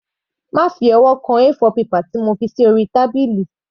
Má fi ọwọ́ kan A4 paper tí mo fi sí orí tábìlì.